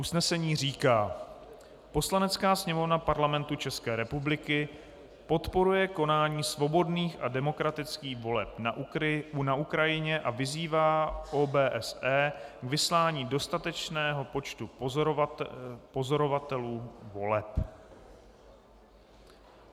Usnesení říká: "Poslanecká sněmovna Parlamentu České republiky podporuje konání svobodných a demokratických voleb na Ukrajině a vyzývá OBSE k vyslání dostatečného počtu pozorovatelů voleb."